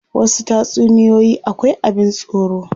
Wasu tatsuniyoyi akwai abin tsoro.